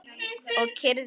Og kyrrðin algjör.